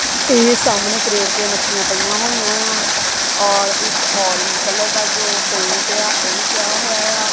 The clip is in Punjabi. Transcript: ਇਹ ਸਾਹਮਣੇ ਕ੍ਰੇਟ ਤੇ ਮੱਛੀਆਂ ਪਈਆਂ ਹੋਈਆਂ ਆਂ ਔਰ ਇੱਕ ਔਰੇਂਜ ਕਲਰ ਦਾ ਜੋ ਕ੍ਰੇਟ ਆ ਉਹ ਵੀ ਪਿਆ ਹੋਇਆ ਆ।